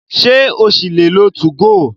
Ṣé o ṣì lè lo 2go?